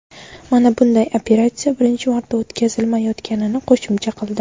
Manba bunday operatsiya birinchi marta o‘tkazilmayotganini qo‘shimcha qildi.